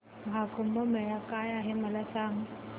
महा कुंभ मेळा काय आहे मला सांग